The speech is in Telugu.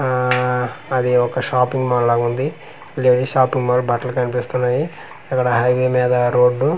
ఆఆఆ అది ఒక షాపింగ్ మాల్ ల ఉంది లేడీస్ షాపింగ్ మాల్ బట్టలు కనిపిస్తున్నాయి అక్కడ హైవే మీద రోడ్ .